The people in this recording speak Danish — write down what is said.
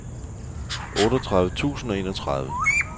otteogtredive tusind og enogtredive